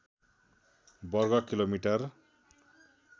वर्ग किलोमीटर